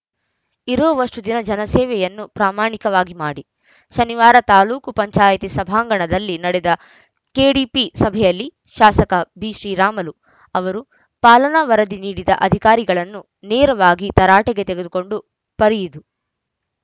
ಇರೋವಷ್ಟುದಿನ ಜನಸೇವೆಯನ್ನು ಪ್ರಾಮಾಣಿಕವಾಗಿ ಮಾಡಿ ಶನಿವಾರ ತಾಲೂಕು ಪಂಚಾಯಿತಿ ಸಭಾಂಗಣದಲ್ಲಿ ನಡೆದ ಕೆಡಿಪಿ ಸಭೆಯಲ್ಲಿ ಶಾಸಕ ಬಿಶ್ರೀರಾಮುಲು ಅವರು ಪಾಲನಾ ವರದಿ ನೀಡದ ಅಧಿಕಾರಿಗಳನ್ನು ನೇರವಾಗಿ ತರಾಟೆಗೆ ತೆಗೆದುಕೊಂಡು ಪರಿಯಿದು